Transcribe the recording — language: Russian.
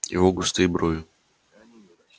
его густые брови